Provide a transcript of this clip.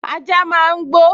Ajá máa n gbó